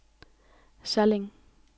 Salling